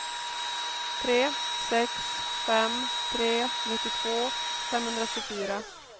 tre sex fem tre nittiotvå femhundratjugofyra